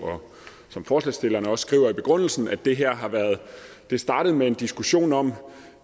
som forslagsstillerne også skriver i begrundelsen at det her startede med en diskussion om